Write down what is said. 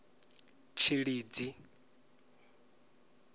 tshilidzi